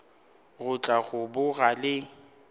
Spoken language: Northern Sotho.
go tla go boga le